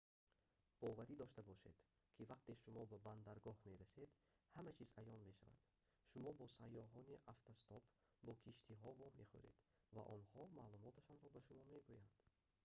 боварӣ дошта бошед ки вақте шумо ба бандаргоҳ мерасед ҳама чиз аён мешавад шумо бо сайёҳони автостоп бо киштиҳо вомехӯред ва онҳо маълумоташонро ба шумо мегӯянд